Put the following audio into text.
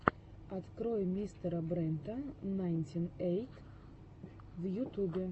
открой мистера брента найнти эйт в ютубе